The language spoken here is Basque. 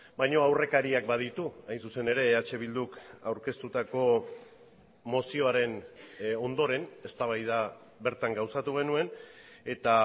baina aurrekariak baditu hain zuzen ere eh bilduk aurkeztutako mozioaren ondoren eztabaida bertan gauzatu genuen eta